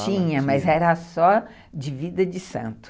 Tinha, mas era só de vida de santo.